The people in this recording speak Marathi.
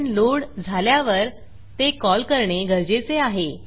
फंक्शन लोड झाल्यावर ते कॉल करणे गरजेचे आहे